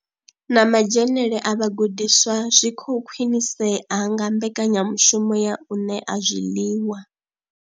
Na madzhenele a vhagudiswa zwi khou khwinisea nga mbekanya mushumo ya u ṋea zwiḽiwa.